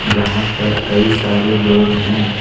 जहां पर कई सारे लोग हैं।